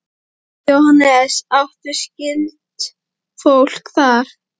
Jóhannes: Áttu skyldfólk þar?